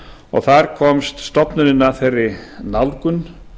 og þar komst stofnunin að þeirri nálgun